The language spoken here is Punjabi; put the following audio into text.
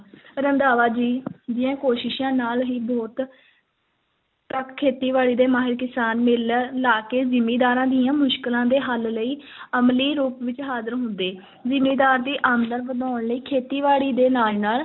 ਰੰਧਾਵਾ ਜੀ ਦੀਆਂ ਕੋਸ਼ਿਸ਼ਾਂ ਨਾਲ ਹੀ ਬਹੁਤ ਖੇਤੀ- ਬਾੜੀ ਦੇ ਮਾਹਰ ਕਿਸਾਨ ਮੇਲੇ ਲਾ ਕੇ ਜ਼ਿਮੀਦਾਰਾਂ ਦੀਆਂ ਮੁਸ਼ਕਲਾਂ ਦੇ ਹੱਲ ਲਈ ਅਮਲੀ ਰੂਪ ਵਿੱਚ ਹਾਜ਼ਰ ਹੁੰਦੇ ਜ਼ਿਮੀਦਾਰ ਦੀ ਆਮਦਨ ਵਧਾਉਣ ਲਈ ਖੇਤੀ-ਬਾੜੀ ਦੇ ਨਾਲ ਨਾਲ